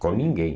Com ninguém.